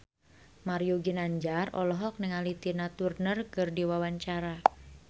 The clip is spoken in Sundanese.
Mario Ginanjar olohok ningali Tina Turner keur diwawancara